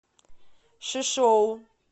шишоу